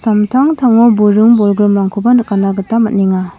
samtangtango buring bolgrimrangkoba nikatna gita man·enga.